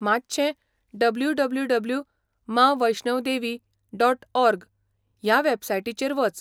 मातशें W, W, W, Maa, Vaishnav, Devi, dot, org ह्या वॅबसायटीचेर वच.